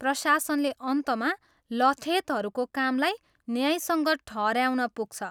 प्रशासनले अन्तमा लठेतहरूको कामलाई न्यायसङ्गत ठहऱ्याउन पुग्छ।